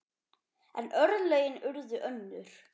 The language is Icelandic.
En örlögin urðu önnur.